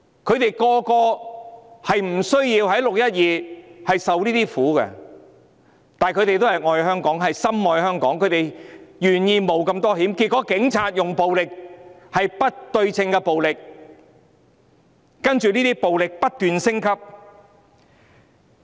他們本來無須在"六一二"承受這些痛苦，但他們都愛香港、深愛香港，願意冒如此大的風險，但結果警察使用暴力——是不對稱的暴力——其後這些暴力更不斷升級。